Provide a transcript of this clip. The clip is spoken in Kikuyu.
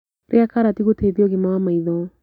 Rĩa karati gũteithia ũgima wa maĩtho